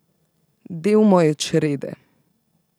Del moje črede.